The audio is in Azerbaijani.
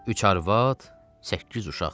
Üç arvad, səkkiz uşaq.